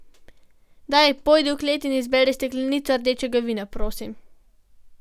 Daj, pojdi v klet in izberi steklenico rdečega vina, prosim.